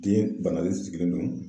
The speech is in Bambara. Den banalen sigilen don.